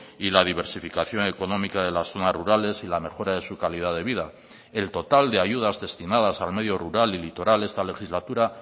y la diversificación económica de las zonas rurales y la mejora de su calidad de vida el total de ayudas destinadas al medio rural y litoral esta legislatura